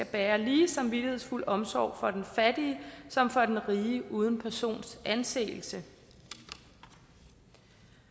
bære lige samvittighedsfuld omsorg for den fattige som for den rige uden persons anseelse det